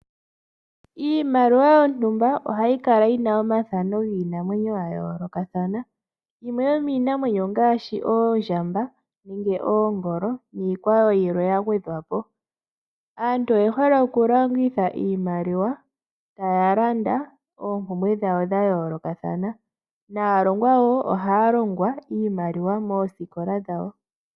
Iimaliwa yontumba ohayi kala yi na omathano giinamwenyo ga yoolokathana yimwe yomiinamwenyo ongaashi oondjamba, nenge oongolo niikwawo yilwe ya gwedhwapo. Aantu oye hole oku longitha iimaliwa taya landa oompumbwe dhawo dha yoolokathana naalongwa wo ohaya longwa iimaliwa moosikola dhawo.